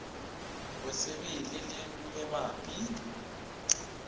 bosebele le e e mabapi